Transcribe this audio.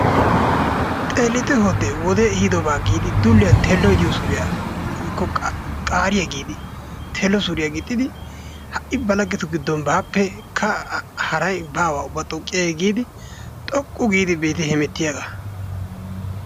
Xeellite hoodde! wodee ehidoobaa giidi dulliyaan telloy diyoo suriyaa woykko qaariyaa giidi tello suriyaa giixxidi ha'i ba laggetu giiddon baappekka xooqqiyay haray baa giidi xooqqu giidi be'itte hemettiyaaga.